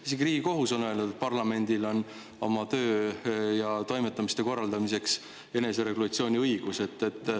Isegi Riigikohus on öelnud, et parlamendil on oma töö ja toimetamiste korraldamiseks eneseregulatsiooni õigus.